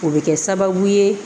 O bɛ kɛ sababu ye